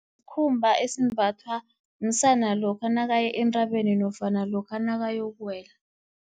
Skhumba esimbathwa, msana lokha nakaya entabeni nofana lokha nakayokuwela.